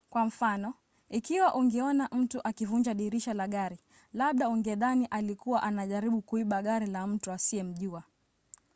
kwa mfano ikiwa ungeona mtu akivunja dirisha la gari labda ungedhani alikuwa anajaribu kuiba gari la mtu usiyemjua